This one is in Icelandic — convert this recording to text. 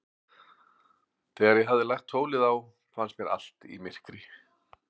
Þegar ég hafði lagt tólið á, fannst mér allt í myrkri.